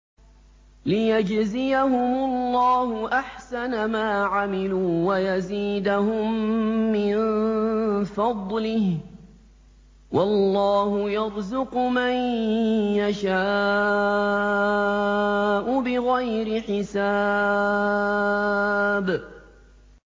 لِيَجْزِيَهُمُ اللَّهُ أَحْسَنَ مَا عَمِلُوا وَيَزِيدَهُم مِّن فَضْلِهِ ۗ وَاللَّهُ يَرْزُقُ مَن يَشَاءُ بِغَيْرِ حِسَابٍ